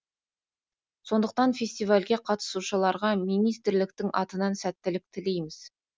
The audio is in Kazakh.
сондықтан фестивальге қатысушыларға министрліктің атынан сәттілік тілейміз